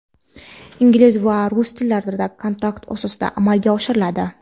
ingliz va rus tillarida kontrakt asosida amalga oshiriladi.